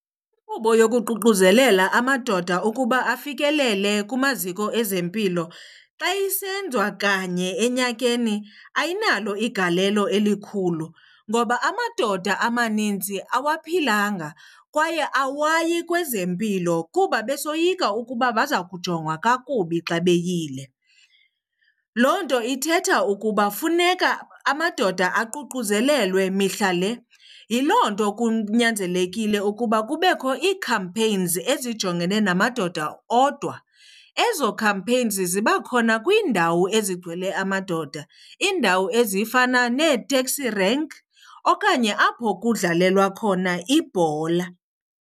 Inkqubo yokuququzelela amadoda ukuba afikelele kumaziko ezempilo xa isenziwa kanye enyakeni ayinalo igalelo elikhulu, ngoba amadoda amaninzi awaphilanga kwaye awayi kwezempilo kuba besoyika ukuba baza kujongwa kakubi xa beyile. Loo nto ithetha ukuba funeka amadoda aququzelelwe mihla le. Yiloo nto kunyanzelekile ukuba kubekho ii-campaigns ezijongene namadoda odwa. Ezo campaigns ziba khona kwiindawo ezigcwele amadoda, iindawo ezifana nee-taxi rank okanye apho kudlalelwa khona ibhola.